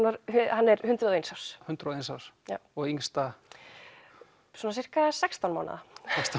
hann er hundrað og eins árs hundrað og eins árs já og yngsta svona sirka sextán mánaða